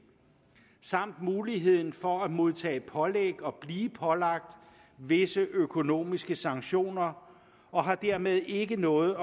samt muligheden for at modtage pålæg og blive pålagt visse økonomiske sanktioner og har dermed ikke noget